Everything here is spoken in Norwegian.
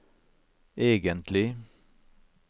egentlig